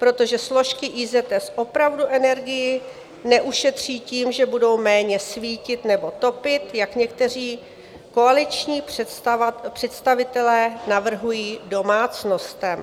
Protože složky IZS opravdu energii neušetří tím, že budou méně svítit nebo topit, jak někteří koaliční představitele navrhují domácnostem.